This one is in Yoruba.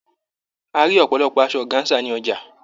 A rí ọ̀pọ̀lọpọ̀ asọ ọgáńsà ní ọjà.